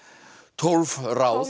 tólf ráð